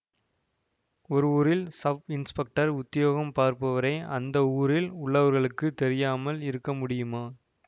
ஒரு ஊரில் ஸப்இன்ஸ்பெக்டர் உத்தியோகம் பார்ப்பவரை அந்த ஊரில் உள்ளவர்களுக்குத் தெரியாமல் இருக்க முடியுமா